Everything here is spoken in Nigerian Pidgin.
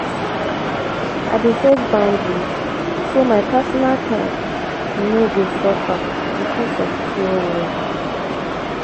i dey set boundaries so my personal time no go suffer because because of care work.